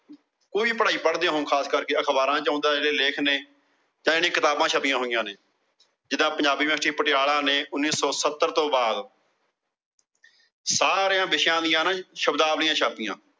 ਕੋਈ ਪੜਾਈ ਪੜ੍ਹਦੇ ਹੋ ਖਾਸ ਕਰਕੇ ਅਖਬਾਰਾਂ ਚ ਆਉਂਦੇ ਲੇਖ ਨੇ, ਇਹ ਜਿਹੜੀਆਂ ਕਿਤਾਬਾਂ ਛਪੀਆਂ ਹੋਇਆ ਨੇ। ਜਿੰਦਾ Panjabi University Patiala ਨੇ ਉਣੀ ਸੋ ਸੱਤਰ ਤੋਂ ਬਾਅਦ ਸਾਰੇ ਵਿਸ਼ਿਆਂ ਦੀਆ ਸ਼ਬਦਾਵਲੀਆਂ ਛਾਪੀਆਂ।